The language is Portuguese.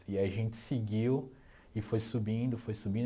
E aí a gente seguiu e foi subindo, foi subindo.